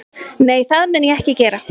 Nei, það mun ég ekki gera